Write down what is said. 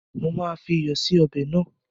Mo máa fi iyọ̀ sì ọbẹ̀ náà.